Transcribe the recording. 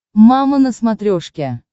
мама на смотрешке